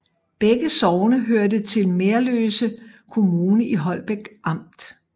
Begge sogne hørte til Merløse Herred i Holbæk Amt